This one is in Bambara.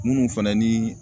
Minnu fana ni